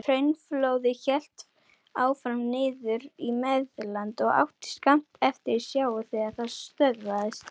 Hraunflóðið hélt áfram niður í Meðalland og átti skammt eftir til sjávar þegar það stöðvaðist.